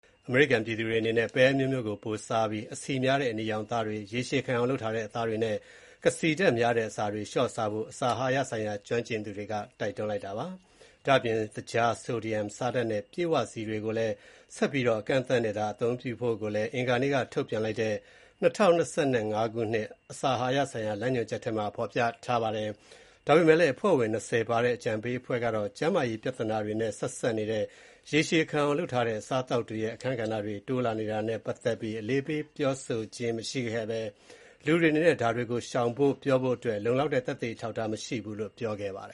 အမေရိကန်ပြည်သူတွေအနေနဲ့ ပဲအမျိုးမျိုးကို ပိုမိုစားသုံးပြီး အဆီများတဲ့အနီရောင်အသားတွေ၊ ရေရှည်ခံအောင်လုပ်ထားတဲ့အသားတွေ နဲ့ ကစီဓါတ်များတဲ့ အစားအစားတွေကို လျှော့စားဖို့ အစာအာဟာရဆိုင်ရာကျွမ်းကျင်သူတွေက တိုက်တွန်းလိုက်ပါတယ်။ ဒါ့အပြင် သကြား၊ ဆိုဒီယမ် (ဆားဓာတ်) နဲ့ ပြည့်ဝဆီတွေကိုလည်း ဆက်ပြီးတော့ အကန့်အသတ်နဲ့သာသုံးဖို့ကိုလည်း အင်္ဂါနေ့က ထုတ်ပြန်လိုက်တဲ့ ၂၀၂၅ ခုနှစ် အစာအာဟာရဆိုင်ရာ လမ်းညွှန်ချက်ထဲမှာ ပြောထားပါတယ်။ ဒါပေမဲ့လည်း အဖွဲ့ဝင် ၂၀ ပါဝင်တဲ့ အကြံပေးအဖွဲ့ကတော့ ကျန်းမာရေးဆိုင်ရာ ပြဿနာတွေနဲ့ ဆက်စပ်နေတဲ့ ရေရှည်ခံအောင်လုပ်ထားတဲ့ အစားအသောက်တွေရဲ့ အခန်းကဏ္ဍတွေ တိုးလာနေတာနဲ့ ပတ်သက်ပြီး အလေးပေးပြောဆိုခြင်း မရှိခဲ့ဘဲ လူတွေအနေနဲ့ ဒါတွေကို ရှောင်ဖို့ရာပြောဖို့အတွက် လုံလောက်တဲ့ သက်သေ အထောက်အထားမရှိဘူးလို့ ပြောပါတယ